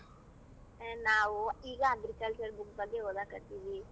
ನಾವು ಈಗ agriculture book ಬಗ್ಗೆ ಓದಕ್ ಹತ್ತಿವಿ.